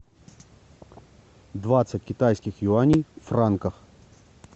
двадцать китайских юаней в франках